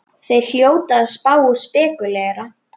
Þeir hljóta að spá og spekúlera!